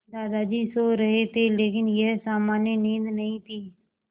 दादाजी सो रहे थे लेकिन यह सामान्य नींद नहीं थी